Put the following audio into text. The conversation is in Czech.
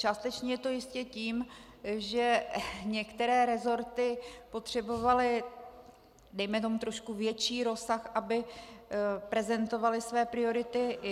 Částečně je to ještě tím, že některé resorty potřebovaly dejme tomu trošku větší rozsah, aby prezentovaly své priority.